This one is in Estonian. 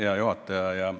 Hea juhataja!